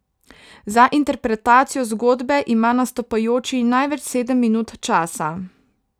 Za interpretacijo zgodbe ima nastopajoči največ sedem minut časa.